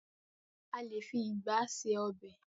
A lé fi ìgba ṣe ọb|.